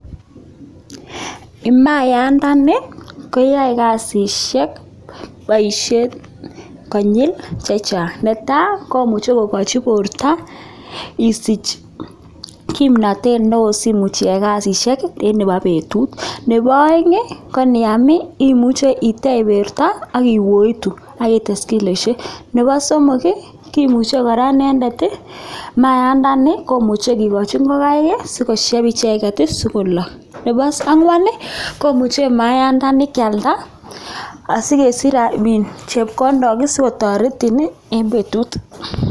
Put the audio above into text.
Maayandani koyoe kasisiek, boisiet konyil chechang, ne tai, komuchei kokochi borto isiich kimnatet neo simuch isich iyae kasisiek any chebo betut ak nebo aeng, koniam imuche itech borto ak kiwooit akites kiloishek. Nebo somok, kimuche kora inendet mayaandani komuche kikochi ngokaik sikoshep icheket sikolok. Nebo angwan, komuche maayandani kialda asikesich chepkondok sikotoretin eng betut.